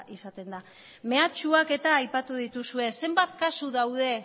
izaten da mehatxuak eta aipatu dituzue zenbat kasu daude